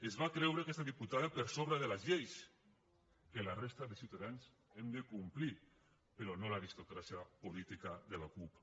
es va creure aquesta diputada per sobre de les lleis que la resta de ciutadans hem de complir però no l’aristocràcia política de la cup